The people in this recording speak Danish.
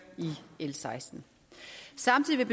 i l sekstende samtidig vil